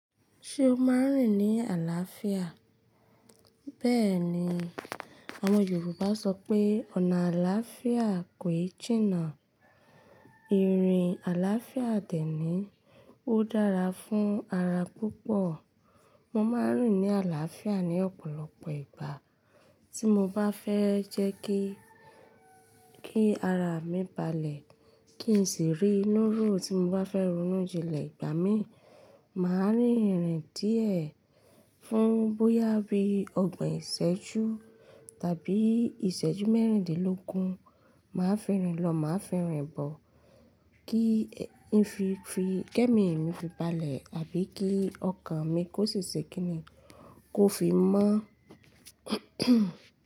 Ṣé o máa ń rìn ní àlàáfíà? Bẹ́ẹ̀ni, àwọn Yorùbá sọ pé "ọ̀nà àlàáfíà kòí jìnnà". Irin àlàáfíà dè nìí, ó dára fún ara púpọ̀. Mo máa ń rìn ní àlàáfíà ní ọ̀pọ̀lọpọ̀ ìgbà. Tí mo bá fẹ́ jẹ́ kí, kí ara mi balẹ̀, kí n sì rí inú rò tí mo bá fẹ́ ronú jinlẹ̀ ìgbà mí, màá rìn ìrìn díẹ̀. Fún bóyá bí ọgbọ̀n ìsẹ́jú tàbí ìsẹ́jú mẹ́rìndínlógún, màá fi rìn lọ, màá fi rìn bọ̀. Kín fi fi kẹ́mi mi fi balẹ̀ àbí kí ọkàn mi kó sì ṣe kínní kó fi mọ́